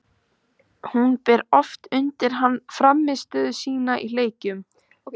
Hún ber oft undir hann frammistöðu sína í leikjum.